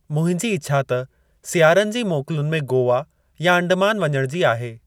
मुंहिंजी इछा त सियारनि जी मोकलुनि में गोवा या अंडमान वञण जी आहे।